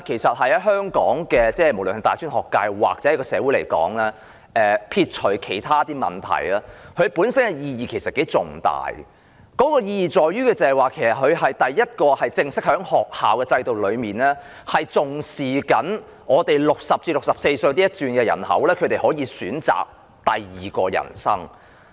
在香港的大專學界或社會來說，撇除其他問題，活齡學院本身的意義頗為重大，其意義在於它是第一個在正式的學校制度中重視本港60歲至64歲人口的學院，讓他們可以選擇第二人生。